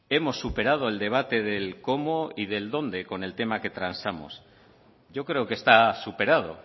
hemos superado el debate del cómo y del dónde con el tema que transamos yo creo que está superado